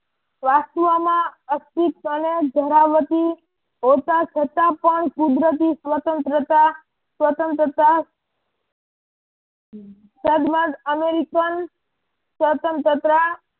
વાસ્તવ માં અસ્તિત્વ અને ધરાવતી હોતા છતાં પણ કુદરતી સ્વતંત્રતા સ્વતંત્રતા સદવાન અમેરિકન સ્વતંત્રત્રા